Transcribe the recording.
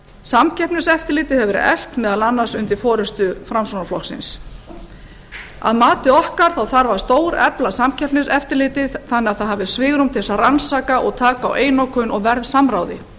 samkeppniseftirlitið hefur verið eflt meðal annars undir forustu framsóknarflokksins að mati okkar þarf að stórefla samkeppniseftirlitið þannig að það hafi svigrúm til þess að rannsaka og taka á einokun og verðsamráði